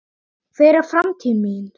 Hver er framtíð mín?